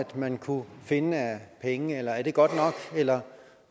man kunne finde af penge er er det godt nok eller